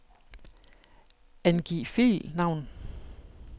Angiv filnavn.